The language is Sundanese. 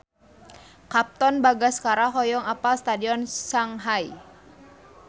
Katon Bagaskara hoyong apal Stadion Shanghai